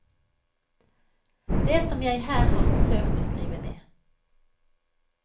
Det som jeg her har forsøkt å skrive ned.